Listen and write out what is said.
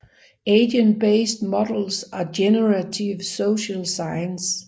Agent Based Models and Generative Social Science